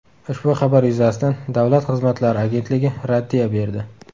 Ushbu xabar yuzasidan Davlat xizmatlari agentligi raddiya berdi.